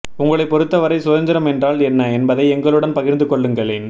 உங்களைப் பொறுத்தவரை சுதந்திரம் என்றால் என்ன என்பதை எங்களுடன் பகிர்ந்து கொள்ளுங்களேன்